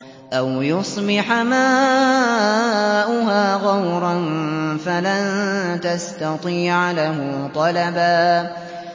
أَوْ يُصْبِحَ مَاؤُهَا غَوْرًا فَلَن تَسْتَطِيعَ لَهُ طَلَبًا